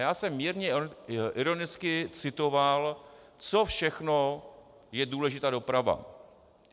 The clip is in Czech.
Já jsem mírně ironicky citoval, co všechno je důležitá doprava.